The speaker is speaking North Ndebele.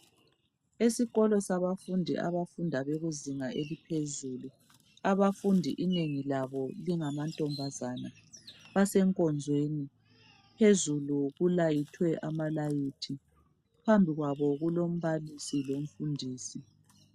Esikolo sabafundi abafunda bekuzinga eliphezulu abafundi inengi labo lingamantombazana basenkonzweni phezulu kulayithwe amalayithi phambi kwabo kulombalisi lomfundisi